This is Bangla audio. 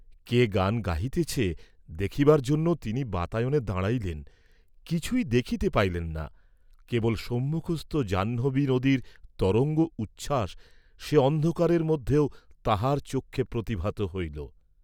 কে গান গাহিতেছে দেখিবার জন্য তিনি বাতায়নে দাঁড়াইলেন, কিছুই দেখিতে পাইলেন না, কেবল সম্মুখস্থ জাহ্নবী নদীর তরঙ্গ উচ্ছাস সে অন্ধকারের মধ্যেও তাঁহার চক্ষে প্রতিভাত হইল।